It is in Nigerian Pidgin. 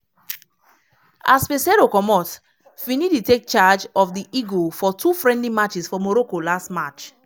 as peseiro comot finidi take charge of di eagle for two friendly matches for morocco last march.